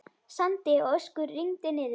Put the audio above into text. Sandi og ösku rigndi niður.